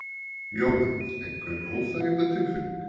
Jóhann: Einhver óþægindatilfinning?